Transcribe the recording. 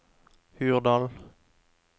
Hurdal